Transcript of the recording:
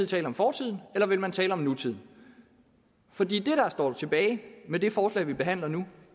tale om fortiden eller vil man tale om nutiden for det der står tilbage med det forslag vi behandler nu